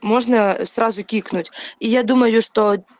можно сразу кикнуть и я думаю что